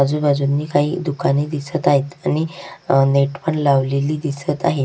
आजूबाजूनी काही दुकाने दिसत आहेत आणि अह नेट पण लावलेली दिसत आहेत.